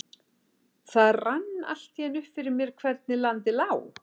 Það rann allt í einu upp fyrir mér hvernig landið lá.